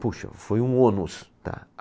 Puxa, foi um ônus, tá?